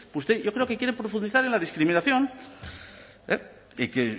usted yo creo que quiere profundizar en la discriminación y que